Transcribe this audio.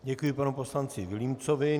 Děkuji panu poslanci Vilímcovi.